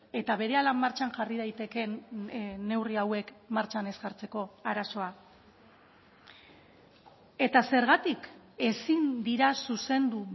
eta berehala martxan jarri daitekeen neurri hauek martxan ez jartzeko arazoa eta zergatik ezin dira zuzendu